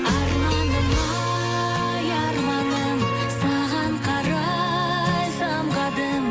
арманым ай арманым саған қарай самғадым